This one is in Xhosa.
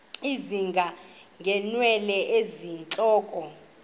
ezinga ngeenwele zentloko